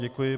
Děkuji.